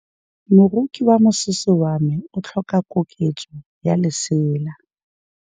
Moroki wa mosese wa me o tlhoka koketsô ya lesela.